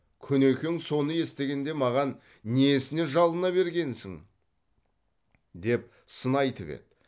күнекең соны естігенде маған несіне жалына бергенсің деп сын айтып еді